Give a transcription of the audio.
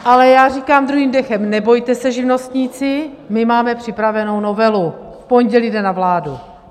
Ale já říkám druhým dechem: Nebojte se, živnostníci, my máme připravenou novelu, v pondělí jde na vládu.